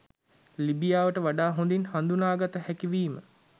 ලිබියාව වඩා හොඳින් හඳුනාගත හැකි වීම